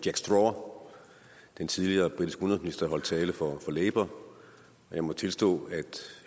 jack straw den tidligere britiske udenrigsminister der holdt tale for labour og jeg må tilstå at